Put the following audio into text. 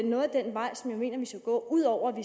noget af den vej som jeg mener vi skal gå udover at vi